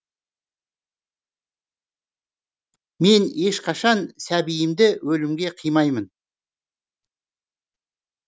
мен ешқашан сәбиімді өлімге қимаймын